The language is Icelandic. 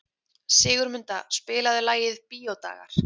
Sigurmunda, spilaðu lagið „Bíódagar“.